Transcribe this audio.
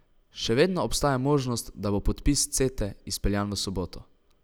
Še vedno obstaja možnost, da bo podpis Cete izpeljan v soboto.